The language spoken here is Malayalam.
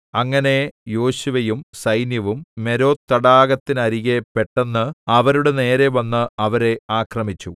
അങ്ങനെ യോശുവയും സൈന്യവും മേരോ തടാകത്തിനരികെ പെട്ടെന്ന് അവരുടെ നേരെ വന്ന് അവരെ ആക്രമിച്ചു